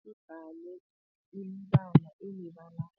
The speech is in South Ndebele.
Sidwaba iimbala emibalabala